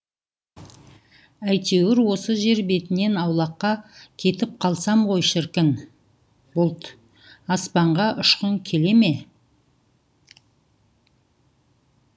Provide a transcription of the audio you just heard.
әйтеуір осы жер бетінен аулаққа кетіп қалсам ғой шіркін бұлт аспанға ұшқың келе ме